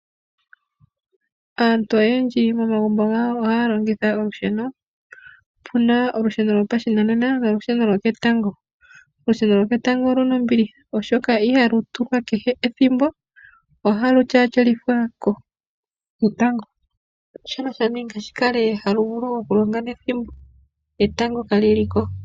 Aantu oyendji momagumbo gawo ohaya longitha olusheno opuna olusheno gwopashinanena nosheno lwoketango ,olusheno lwoketango oluna ombiliha oshoka ihalu tulwa kehe ethimbo ,ihe ihali vulu okulonga uuna etango kali ko.